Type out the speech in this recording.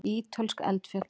Ítölsk eldfjöll.